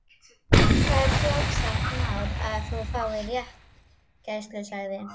Það er sjálfsagt mál að þú fáir réttargæslumann sagði